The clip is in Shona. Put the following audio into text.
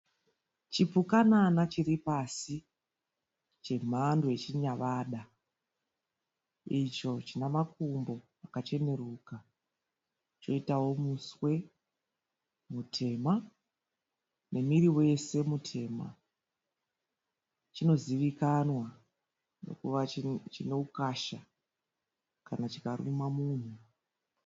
Chipukunana chiri pasi chemhando yechinyavada, icho china makumbo akachenuruka choitawo muswe mutema nemuviri wose mutema, chinozivikanwa neukasha kana chikaruma munhu.